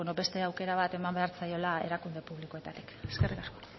beste aukera bat eman behar zaiola erakunde publikoetatik eskerrik asko